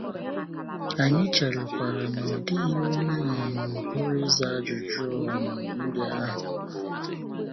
Anyị cherekwara na ọ dịghị onye um pụrụ ịza ajụjụ um ndị ahụ. ahụ.